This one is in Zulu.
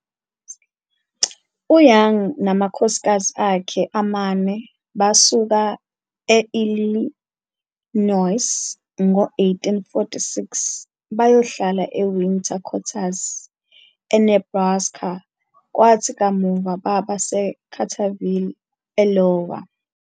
U-Young namakhosikazi akhe amane basuka e-Illinois ngo-1846 bayohlala eWinter Quarters, eNebraska, kwathi kamuva baba seCarterville, e-Iowa.